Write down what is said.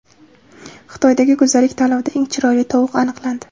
Xitoydagi go‘zallik tanlovida eng chiroyli tovuq aniqlandi.